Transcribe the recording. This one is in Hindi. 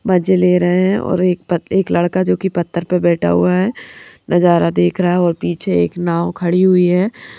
मजे ले रहे है और एक पत् एक लड़का जो कि पत्थर पे बैठा हुआ है नजारा देख रहा है और पीछे एक नाव खड़ी हुई है।